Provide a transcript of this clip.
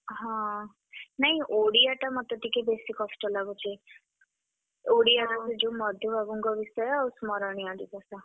ହଁ, ନାଇଁ ଓଡିଆ ଟା ମତେ ଟିକେ ବେଶୀ କଷ୍ଟ ଲାଗୁଚି। ଓଡିଆରେ ବି ଯୋଉ ମଧୁବାବୁଙ୍କ ବିଷୟ ଆଉ ସ୍ମରଣୀୟ ଦିବସ।